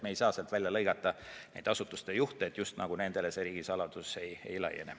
Me ei saa sealt välja lõigata asutuste juhte, et nendele just nagu riigisaladus ei laiene.